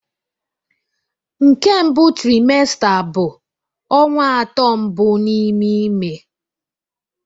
Nke mbụ trimester bụ ọnwa atọ mbụ n'ime ime